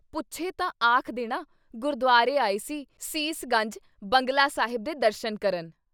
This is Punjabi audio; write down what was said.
ਪੁੱਛੇ ਤਾਂ ਆਖ ਦੇਣਾ- ਗੁਰਦੁਆਰੇ ਆਏ ਸੀ ਸੀਸ ਗੰਜ, ਬੰਗਲਾ ਸਾਹਿਬ ਦੇ ਦਰਸ਼ਨ ਕਰਨ।”